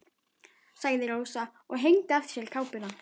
sagði Rósa og hengdi af sér kápuna.